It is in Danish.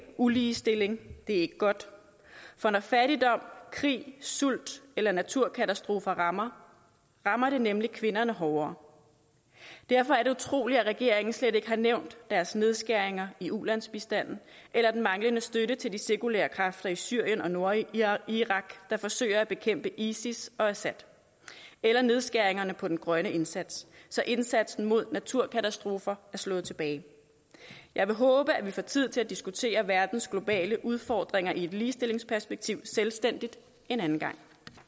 uligestilling det er ikke godt for når fattigdom krig sult eller naturkatastrofer rammer rammer det nemlig kvinderne hårdere derfor er det utroligt at regeringen slet ikke har nævnt deres nedskæringer i ulandsbistanden eller den manglende støtte til de sekulære kræfter i syrien og nordirak der forsøger at bekæmpe isis og assad eller nedskæringerne på den grønne indsats så indsatsen mod naturkatastrofer er blevet slået tilbage jeg vil håbe at vi får tid til at diskutere verdens globale udfordringer i et ligestillingsperspektiv selvstændigt en anden gang